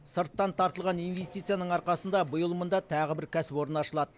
сырттан тартылған инвестицияның арқасында биыл мұнда тағы бір кәсіпорын ашылады